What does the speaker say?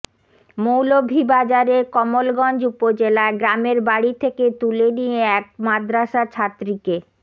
মৌলভীবাজারের কমলগঞ্জ উপজেলায় গ্রামের বাড়ি থেকে তুলে নিয়ে এক মাদ্রাসাছাত্রীকে